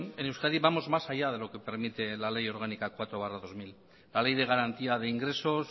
en euskadi vamos más allá de lo que permite la ley orgánica cuatro barra dos mil la ley de garantía de ingresos